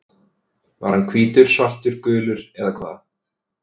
Var hann hvítur, svartur, gulur eða hvað?